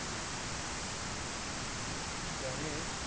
त्याने